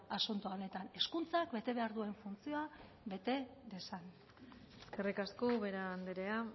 asunto honetan hezkuntzak bete behar duen funtzioa bete dezan eskerrik asko ubera andrea